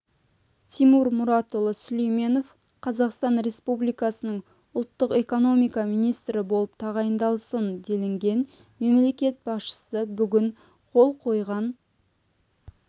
тимур мұратұлы сүлейменов қазақстан республикасының ұлттық экономика министрі болып тағайындалсын делінген мемлекет басшысы бүгін қол қойған